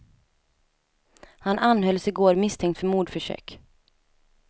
Han anhölls i går misstänkt för mordförsök.